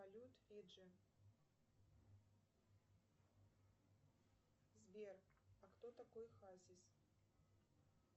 салют фиджи сбер а кто такой хазис